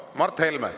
Mart Helme!